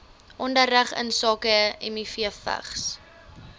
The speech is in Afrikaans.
onderrig insake mivvigs